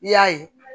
I y'a ye